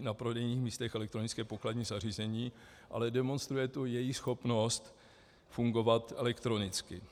na prodejních místech elektronické pokladní zařízení, ale demonstruje to jejich schopnost fungovat elektronicky.